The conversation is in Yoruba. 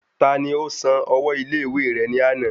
Tani ó san ọwọ́ ilé ìwé rẹ ní àná?